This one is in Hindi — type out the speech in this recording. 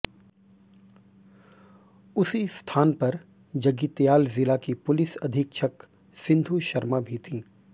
उसी स्थान पर जगित्याल जिला की पुलिस अधीक्षक सिंधु शर्मा भी थीं